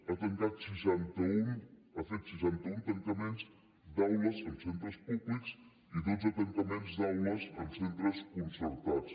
ha fet seixanta un tancaments d’aules en centres públics i dotze tancaments d’aules en centres concertats